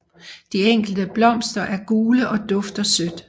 De enkelte blomster er gule og dufter sødt